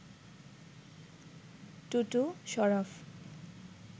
Tutu, Sharaf